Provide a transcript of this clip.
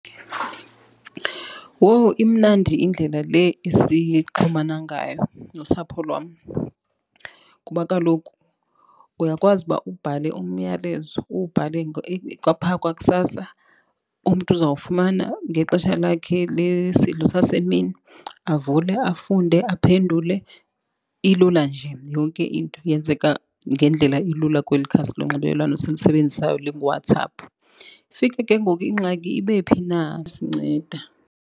Wowu, imnandi indlela le esixhumana ngayo nosapho lwam kuba kaloku uyakwazi uba ubhale umyalezo, uwubhale kwaphaa kwakusasa umntu uzawufumana ngexesha lakhe lesidlo sasemini avule, afunde, aphendule. Ilula nje yonke into yenzeka ngendlela elula kweli khasi lonxibelelwano silisebenzisayo linguWhatsApp. Ifike ke ngoku ingxaki ibe phi na sinceda.